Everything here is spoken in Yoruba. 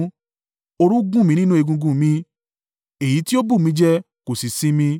Òru gún mi nínú egungun mi, èyí tí ó bù mí jẹ kò sì sinmi.